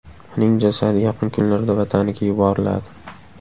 Uning jasadi yaqin kunlarda vataniga yuboriladi.